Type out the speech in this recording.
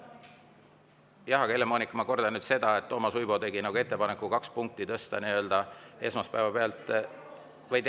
Helle-Moonika, ma kordan seda, et Toomas Uibo tegi ettepaneku tõsta kaks punkti esmaspäeva pealt …